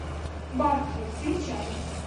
барфи включай